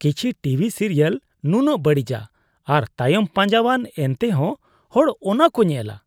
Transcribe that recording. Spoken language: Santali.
ᱠᱤᱪᱷᱩ ᱴᱤᱵᱷᱤ ᱥᱤᱨᱤᱭᱟᱞ ᱱᱩᱱᱟᱹᱜ ᱵᱟᱹᱲᱤᱡᱟ ᱟᱨ ᱛᱟᱭᱚᱢ ᱯᱟᱸᱡᱟᱣᱟᱱᱼᱟ ᱮᱱᱛᱮᱦᱚᱸ ᱦᱚᱲ ᱚᱱᱟ ᱠᱚ ᱧᱮᱞᱟ ᱾